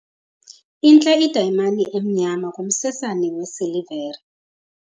Intle idayimani emnyama kumsesane wesilivere.